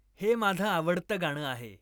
हे माझं आवडतं गाणं आहे